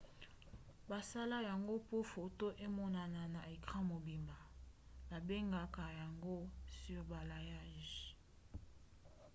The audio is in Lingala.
basala yango po foto emonana na ecran mobimba. babengaka yango surbalayage